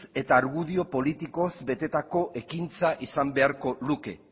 eta argudio politikoz betetako ekintza izan behar luke